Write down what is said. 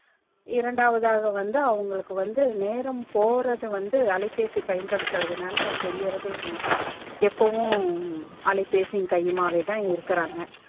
இரண்டாவது ஆகா வந்து அவங்களுக்கு வந்து நேரம் போறது வந்து அலைபேசி பயன்படுத்துறது நாலா அது தெரியர்தே இல்ல எப்போவும் அலைபேசி கை யுமாவேதா இருக்காங்க